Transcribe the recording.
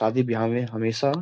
शादी विवाह में हमेशा --